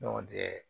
o de ye